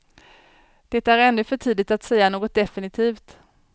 Det är ännu för tidigt att säga något definitivt.